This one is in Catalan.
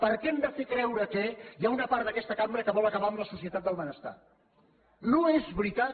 per què hem de fer creure que hi ha una part d’aquesta cambra que vol acabar amb la societat del benestar no és veritat